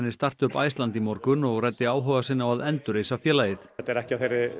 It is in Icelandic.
startup Iceland í morgun og ræddi áhuga sinn á að endurreisa félagið þetta er ekki á